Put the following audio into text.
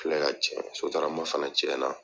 Filɛ ka cɛn sotarama fana cɛnna